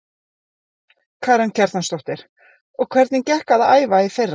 Karen Kjartansdóttir: Og hvernig gekk að æfa í fyrra?